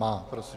Má. Prosím.